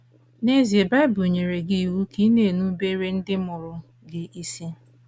N’ezie, Bible nyere gị iwu ka ị na - erubere ndị mụrụ gị isi.